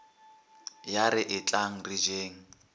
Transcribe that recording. ya re etlang re jeng